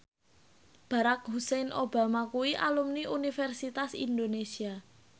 Barack Hussein Obama kuwi alumni Universitas Indonesia